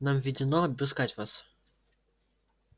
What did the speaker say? нам ведёно обыскать вас